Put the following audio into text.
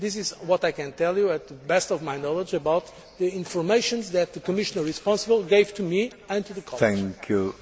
This is what I can tell you, to the best of my knowledge, about the information that the Commissioner responsible gave to me and to the College.